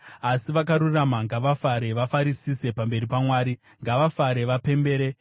Asi vakarurama ngavafare, vafarisise pamberi paMwari; ngavafare vapembere.